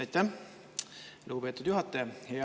Aitäh, lugupeetud juhataja!